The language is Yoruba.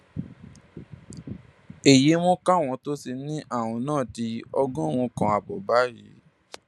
èyí mú káwọn tó ti ní àrùn náà di ọgọrùnún kan ààbọ báyìí